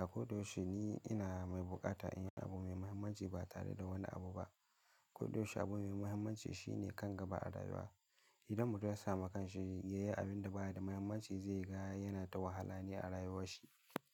A koda yaushe ni ina mai bukata in yi abu mai muhimmanci ba tare da wani abu ba. A koda yaushe abu mai muhimmanci shine kan gaba a rayuwa. Idan mutum ya sami kan shi ya yi abin da ba ya da muhimmanci, zai ga yana ta wahala ne a rayuwarsa.